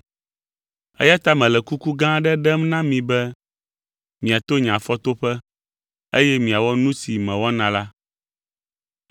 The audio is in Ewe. Eya ta mele kuku gã aɖe ɖem na mi be miato nye afɔtoƒe, eye miawɔ nu si mewɔna la.